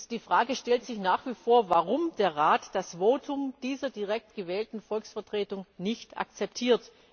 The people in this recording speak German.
Die Frage stellt sich nach wie vor, warum der Rat bei dieser Frage das Votum dieser direkt gewählten Volksvertretung nicht akzeptiert.